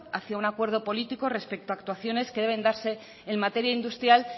hacia un acuerdo político respecto a actuaciones que deben darse en materia industrial